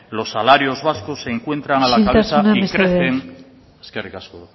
los salarios vascos se encuentran a la cabeza y crecen isiltasuna mesedez eskerrik asko